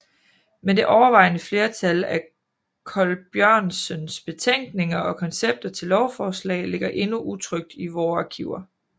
Men det overvejende flertal af Colbjørnsens betænkninger og koncepter til lovforslag ligger endnu utrykt i vore arkiver